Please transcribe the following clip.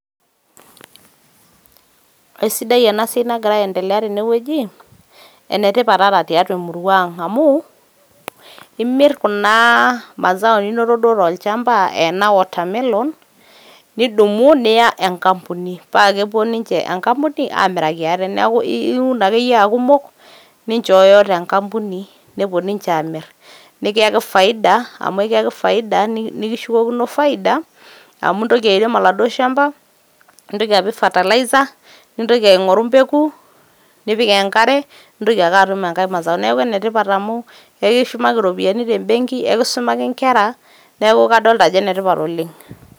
esidai ena siai nagira endelea tene wueji ene tipat ata tiatua emurua ang amu imir kuna mazao ninoto duoo tolchamba ena watermelon nidumu niya enkampuni paa kepuo ninche enkampuni amiraki ate . niaku iun ake aku imuk ninchooyo te nkampuni nepuo niche amir nikiyaki faida nikishukokino faida amu intoki airem oladuoo shamba nintoki apik fertilezer nintoki aingoru mbeku nipik enkare nintaoki ake atum enkae [cs[mazao niaku ene tipat amu ekishumaki iropiyiani te benki ,ekisumaki inkera neku kadolta ajo ene tipat oleng